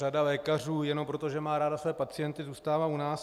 Řada lékařů jenom proto, že má ráda své pacienty, zůstává u nás.